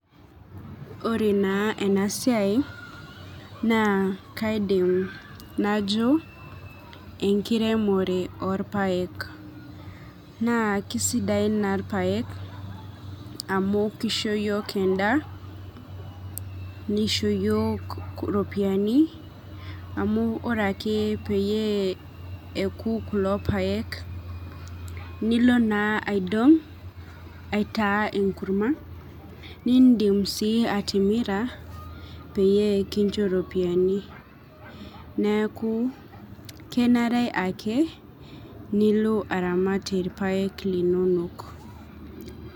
Ore na enasiai na kaidim najo lashumba nkiremore orpaek na kisidain na irpaek amu kisho yiok endaa nishoo yioo iropiyiani amu ore ake puoku kulo paek nilo naidong aitaa enkurma metaa indim si atimira penincho iropiyiani neaku kesidai teniramat irpaek lenyenak.